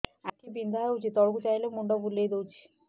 ଆଖି ବିନ୍ଧା ହଉଚି ତଳକୁ ଚାହିଁଲେ ମୁଣ୍ଡ ବୁଲେଇ ଦଉଛି